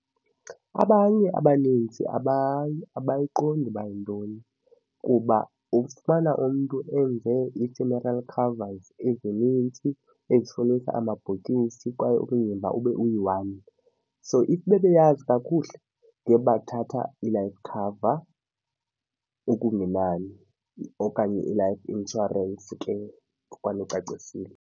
Abanye abanintsi abayiqondi ukuba yintoni kuba ufumana umntu enze i-funeral covers ezinintsi etshonisa amabhokisi kwaye umzimba ube uyi-one. So if bebeyazi kakuhle ngebathatha i-life cover okungenani okanye i-life insurance ke ngoba nicacisile.